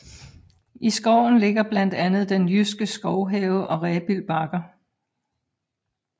I skoven ligger blandt andet Den Jyske Skovhave og Rebild Bakker